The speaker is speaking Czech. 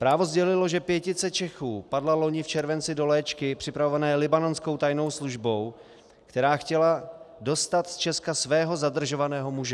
Právo sdělilo, že pětice Čechů padla loni v červenci do léčky připravované libanonskou tajnou službou, která chtěla dostat z Česka svého zadržovaného muže.